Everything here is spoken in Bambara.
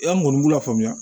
An kɔni b'u lafaamuya